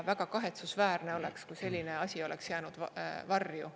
Väga kahetsusväärne oleks, kui selline asi oleks jäänud varju.